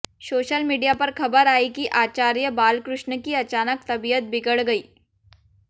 social media पर खबर आई कि आचार्य बालकृष्ण की अचानक तबीयत बिगड़ गई